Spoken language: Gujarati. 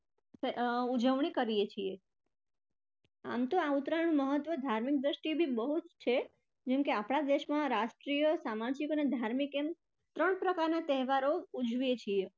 ઉજવણી કરીએ છીએ. આમ તો ઉત્તરાયણ નું ધાર્મિક દ્રષ્ટિએ પણ બહુજ છે જેમકે આપણા દેશમાં રાષ્ટ્રીય, સામાજિક અને ધાર્મિક એમ ત્રણ પ્રકારના તહેવારો ઉજવીએ છીએ.